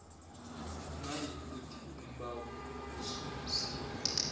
nayikuthi umbawi ususiwe